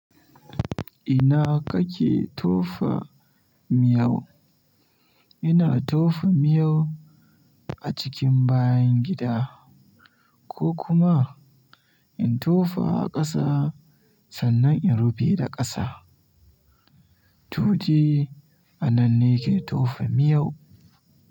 Ina kake tofa miyau? Ina tofa miyau a cikin bayan gida ko kuma in tofa a ƙasa sannan in rufe da ƙasa. Toji a nan ne ke tofa miyau.